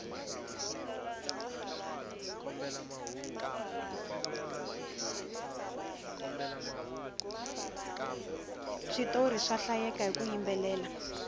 switori swa hlayeka hiku yimbelela